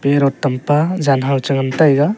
parrot tam pa jan hao cha ngan taiga.